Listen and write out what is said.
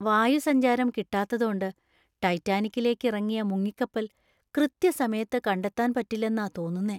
വായുസഞ്ചാരം കിട്ടാത്തതോണ്ട് ടൈറ്റാനിക്കിലേക്ക് ഇറങ്ങിയ മുങ്ങിക്കപ്പൽ കൃത്യസമയത്ത് കണ്ടെത്താൻ പറ്റില്ലെന്നാ തോന്നുന്നേ.